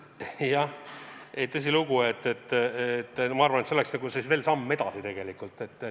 Jah, tõsilugu, ma arvan, et see oleks siis veel nagu samm edasi tegelikult.